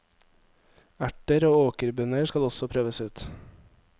Erter og åkerbønner skal også prøves ut.